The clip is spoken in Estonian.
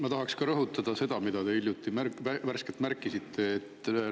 Ma tahan ka rõhutada seda, mida te hiljuti värskelt märkisite.